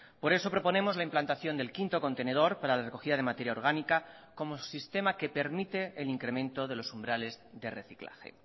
por eso proponemos la implantación del quinto contenedor para la recogida de materia orgánica como sistema que permite el incremento de los umbrales de reciclaje